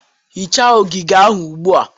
Hichaa ogige ahụ ugbu a